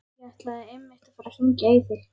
Ég ætlaði einmitt að fara að hringja í þig.